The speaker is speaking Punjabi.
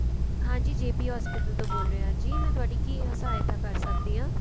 ਹਾਂਜੀ JP hospital ਤੋਂ ਬੋਲ ਰਹੇ ਹਾਂ ਜੀ ਮੈਂ ਤੁਹਾਡੀ ਕੀ ਸਹਾਇਤਾ ਕਰ ਸਕਦੀ ਆਂ